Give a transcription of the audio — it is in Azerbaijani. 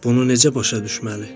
Bunu necə başa düşməli?